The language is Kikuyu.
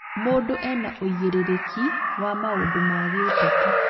Mũndũ ena ũigĩrĩrĩki wa maũndũ ma gĩũteti